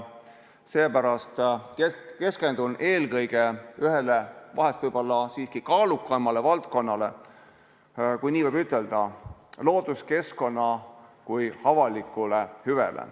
Seepärast keskendun eelkõige vahest siiski ühele kaalukamale valdkonnale, kui nii võib ütelda, looduskeskkonnale kui avalikule hüvele.